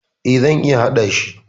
E, zan iya hadashi.